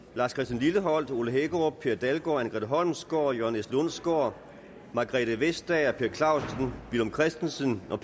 lars christian lilleholt ole hækkerup per dalgaard anne grete holmsgaard jørgen s lundsgaard margrethe vestager per clausen villum christensen og